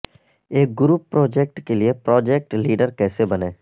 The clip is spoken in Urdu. ایک گروپ پروجیکٹ کے لئے پراجیکٹ لیڈر کیسے بنیں